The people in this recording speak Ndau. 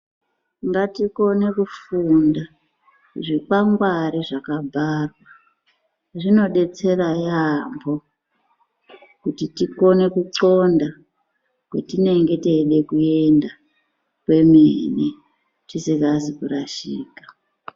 Ngatikone kufunda zvikwangwari zvakabharwa. Zvinodetsera yaambo kuti tikone kuxonda kwetinenge teide kuenda kwemene tisingazi kurashika.